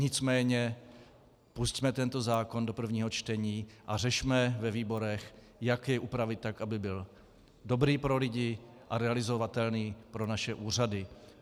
Nicméně pusťme tento zákon do prvního čtení a řešme ve výborech, jak jej upravit tak, aby byl dobrý pro lidi a realizovatelný pro naše úřady.